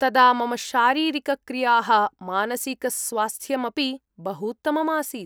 तदा मम शारीरिकक्रियाः, मानसिकस्वास्थ्यम् अपि बहूत्तमम् आसीत्।